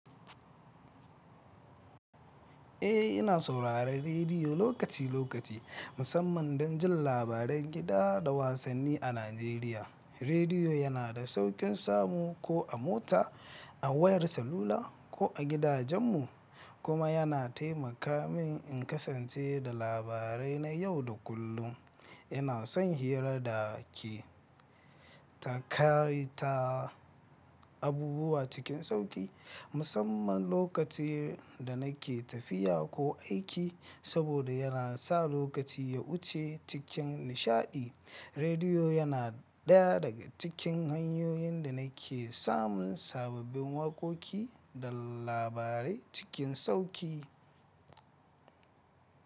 Eh, ina sauraron rediyo lokaci lokaci, musamman don jin labaran gida da wasanni a Najeriya. Rediyo yana da sauƙin samu ko a mota, a wayar salula ko a gidajenmu, kuma yana taimaka min in kasance da labarai na yau da kullun. Ina son hira da ke Eh, ina sauraron rediyo lokaci lokaci, musamman don jin labaran, kida da wasanni a Najeriya. Rediyo yana ɗaya daga cikin hanyoyin da nake samun sabbin waƙoƙi da labarai cikin sauƙi.